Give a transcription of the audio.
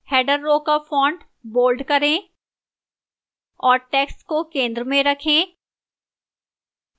header row का font bold करें और text को केंद्र में रखें